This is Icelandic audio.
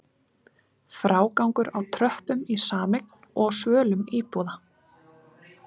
Frágangur á tröppum í sameign og á svölum íbúða?